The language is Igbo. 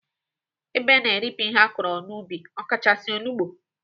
Ebe na-eripịa ihe akọrọ n'ubi ọkachasị, olugbo.